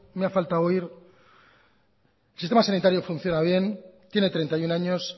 me ha faltado oír el sistema sanitario funciona bien tiene treinta y uno años